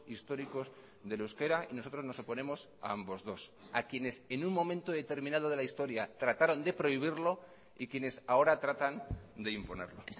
históricos del euskera y nosotros nos oponemos a ambos dos a quienes en un momento determinado de la historia trataron de prohibirlo y quienes ahora tratan de imponerlo